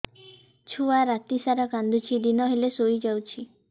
ଛୁଆ ରାତି ସାରା କାନ୍ଦୁଚି ଦିନ ହେଲେ ଶୁଇଯାଉଛି